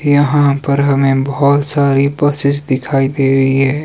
यहां पर हमें बहुत सारी बसेस दिखाई दे रही है।